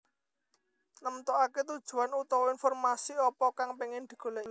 Nemtokake tujuane utawa informasi apa kang pengin digoleki